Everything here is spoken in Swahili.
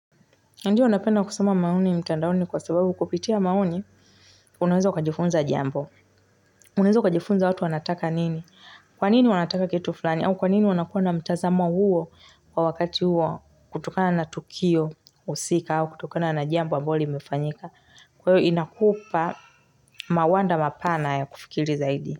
Ndiyo napenda kusoma maoni mtandaoni kwa sababu kupitia maoni, unaweza ukajifunza jambo. Unaweza ukajifunza watu wanataka nini. Kwa nini wanataka kitu fulani au kwa nini wanakuwa na mtazamo huo kwa wakati huo kutokana na tukio husika au kutokana na jambo ambalo limefanyika. Kwa hiyo inakupa mawanda mapana ya kufikiri zaidi.